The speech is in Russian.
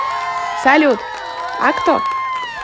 салют а кто